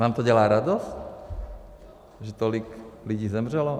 Vám to dělá radost, že tolik lidí zemřelo?